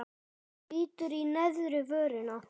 Bítur í neðri vörina.